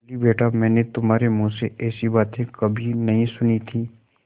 बोलीबेटा मैंने तुम्हारे मुँह से ऐसी बातें कभी नहीं सुनी थीं